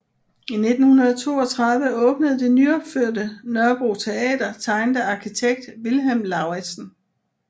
I 1932 åbnede det nyopførte Nørrebro Teater tegnet af arkitekt Vilhelm Lauritzen